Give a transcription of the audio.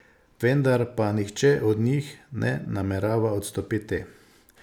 Vendar pa nihče od njih ne namerava odstopiti.